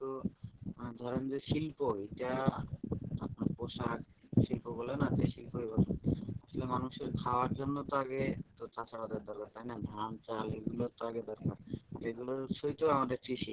আহ ধরেন যে শিল্প এটা আপনার পোশাক শিল্প বলেন আর যেই শিল্প ই বলেন। আসলে মানুষের খাওয়ার জন্য তো আগে চাষ আবাদের দরকার তাই না। ধান চাল এগুলো তো আগে দরকার। আর এগুলোর উৎসই তো আমাদের কৃষি।